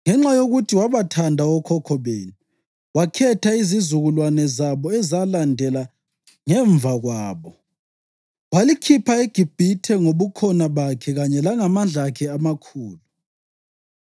Ngenxa yokuthi wabathanda okhokho benu wakhetha izizukulwane zabo ezalandela ngemva kwabo, walikhipha eGibhithe ngoBukhona bakhe kanye langamandla akhe amakhulu,